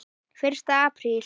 FYRSTI APRÍL